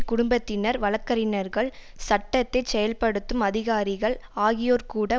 குடும்பத்தினர் வழக்கறிஞர்கள் சட்டத்தைச் செயல்படுத்தும் அதிகாரிகள் ஆகியோர் கூட